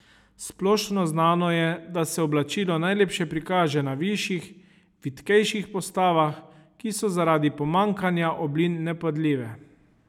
Splošno znano je, da se oblačilo najlepše prikaže na višjih, vitkejših postavah, ki so zaradi pomanjkanja oblin nevpadljive.